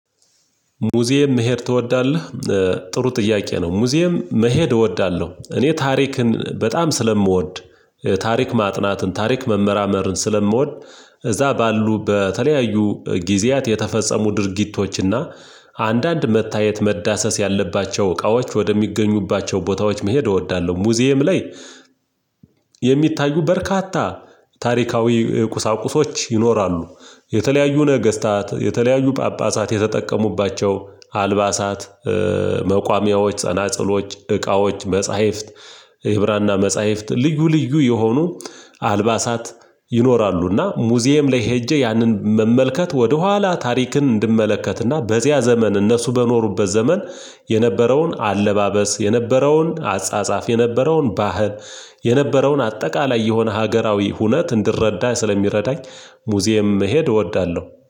ሙዚየም መሄድ ትወዳለህ? ጥሩ ጥያቄ ነው ሙዚየም መሄድ እወዳለሁ እኔ ታሪክን በጣም ስለምወድ ታሪክ ማጥናትን ታሪክ መመራመርን ስለምወድ እዛ ባሉ በተለያዩ ጊዜያት የተፈጸሙ ድርጊቶችና አንዳንድ መታየት መዳሰስ ያለባቸው እቃዎች ወደሚገኙባቸው ቦታዎች መሄድ እወዳለሁ፤ ሙዚየም ላይ የሚታዩ በርካታ ታሪካዊ ቁሳቁሶች ይኖራሉ፤ የተለያዩ ነገስታት የተለያዩ ጳጳሳት የተጠቀሙባቸው አልባሳት፤ መቋሚያዎች፣ ጸናጽሎች፣ እቃዎች፣ መጽሐፍት፣ የህብራና መጽሐፍት ልዩ ልዩ የሆኑ አልባሳት ይኖራሉና ሙዚየም ላይ ሄጄ ያንን መመልከት ወደኋላ ታሪክን እንድመለከትና በዚያ ዘመን እነሱ በኖሩበት ዘመን የነበረውን አለባበስ፣ የነበረውን አጻጻፍ፣ የነበረውን ባህል፣ የነበረውን አጠቃላይ የሆነ ሀገራዊ ሁነት እንድረዳ ስለሚረዳኝ ሙዚየም መሄድ እወዳለሁ።